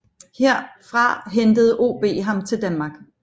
Herfra hentede OB ham til Danmark